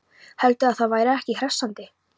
Heldurðu að það væri ekki hressandi?